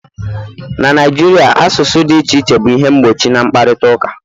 na Naijiria, asụsụ dị iche iche bụ ihe mgbochi na mkparịta ụka